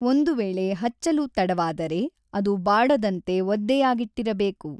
ಒಂದು ವೇಳೆ ಹಚ್ಚಲು ತಡವಾದರೆ ಅದು ಬಾಡದಂತೆ ಒದ್ದೆಯಾಗಿಟ್ಟಿರಬೇಕು.